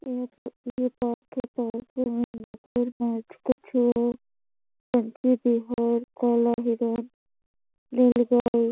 ए park है park में मगरमच्छ कछुओं पंछी बिहार काला हिरण नीलगाय--